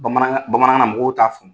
Bamanan bamanakan na mɔgɔw t'a fo